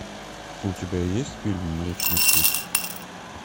у тебя есть фильм млечный путь